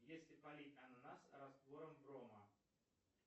если полить ананас раствором брома